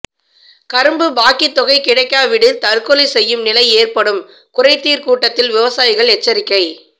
கரும்பு பாக்கித்தொகை கிடைக்காவிடில் தற்கொலை செய்யும் நிலை ஏற்படும் குறைதீர் கூட்டத்தில் விவசாயிகள் எச்சரிக்கை